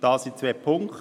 Dies in zwei Punkten: